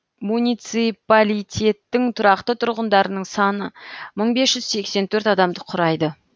муниципалитеттің тұрақты тұрғындарының саны мың бес жүз сексен төрт адамды құрайды